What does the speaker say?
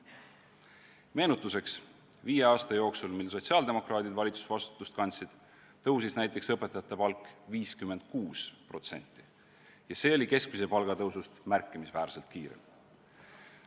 Meenutuseks, viie aasta jooksul, mil sotsiaaldemokraadid valitsusvastutust kandsid, tõusis näiteks õpetajate palk 56% ja see oli keskmise palga tõusust märkimisväärselt kiirem.